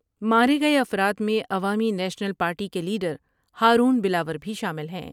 مارے گئے افراد میں عوامی نیشنل پارٹی کے لیڈر ہارون بلاور بھی شامل ہیں ۔